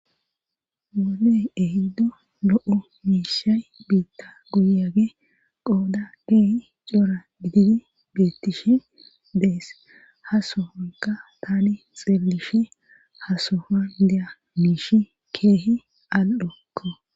Wodey ehiddo lo7o miishay biitta guyage qooda keehi cora gididi bettishi deess ha sohonka tani xeellishe hasohon deya miishi keehi al7okko.